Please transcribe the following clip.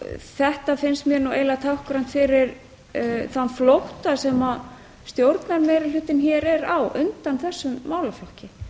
þetta finnst mér nú eiginlega táknrænt fyrir þann flótta sem stjórnarmeirihlutinn hér er á undan þessum málaflokki